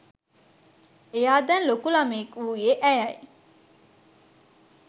එයා දැන් ලොකු ළමයෙක් වූයේ ඇයයි.